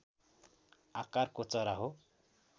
आकारको चरा हो